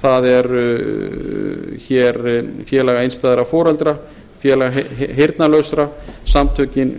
það eru félag einstæðra foreldra félag heyrnarlausra samtökin